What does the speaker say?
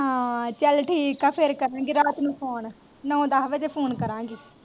ਹਾਂ ਚਾਲ ਠੀਕ ਆ ਫੇਰ ਕਰਾਂਗੀ ਰਾਤ ਨੂੰ phone ਨਾਉ ਦੱਸ ਵਾਜੇ phone ਕਰਾਂਗੀ।